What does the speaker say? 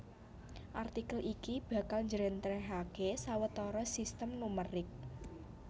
Artikel iki bakal njlèntrèhaké sawetara sistem numerik